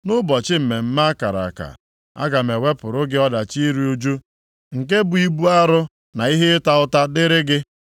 “Nʼụbọchị mmemme a kara aka, aga m ewepụrụ gị ọdachi iru ụjụ, nke bụ ibu arụ na ihe ịta ụta dịrị gị.